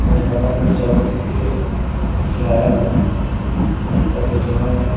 मैदान जो है चारों तरफ से घिराया हुआ है पेड़ पौधे जो हैं --